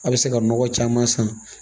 A bɛ se ka nɔgɔ caman san